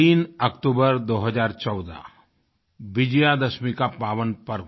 3 अक्टूबर 2014 विजयादशमी का पावन पर्व